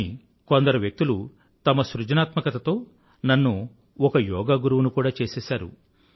కానీ కొందరు వ్యక్తులు తమ సృజనాత్మకతతో నన్ను ఒక యోగా గురువుని కూడా చేసేసారు